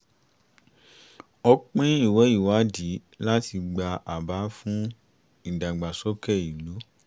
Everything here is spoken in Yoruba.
a pín ìwé ìwádìí láti gba àbá fún ìdàgbàsókè ìlú